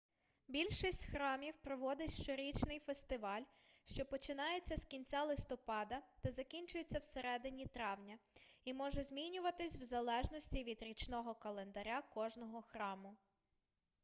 більшість храмів проводить щорічний фестиваль що починається з кінця листопада та закінчується всередині травня і може змінюватись в залежності від річного календаря кожного храму